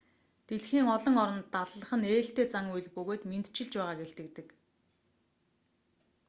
дэлхийн олон оронд даллах нь ээлтэй зан үйл бөгөөд мэндчилж байгааг илтгэдэг